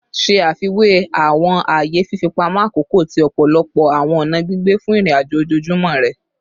Ṣe afiwe awọn aaye fifipamọ akoko ti ọpọlọpọ awọn ọna gbigbe fun irin-ajo ojoojumọ rẹ